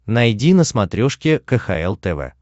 найди на смотрешке кхл тв